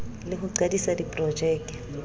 le ho qadisa diprojeke ke